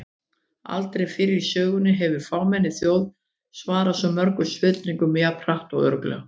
Aldrei fyrr í sögunni hefur fámenn þjóð svarað svo mörgum spurningum jafn hratt og örugglega!